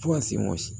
Fo ka se